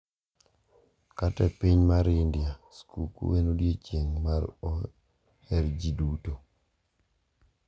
Kata e piny mar India, skuku en odiechieng` ma oher gi ji duto.